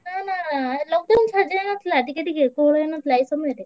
ନାଁ ନାଁ lockdown ସରି ଯାଇଥିଲା ଟିକେ ଟିକେ କୋହଳ ହେଇନଥିଲା ଏଇ ସମୟରେ।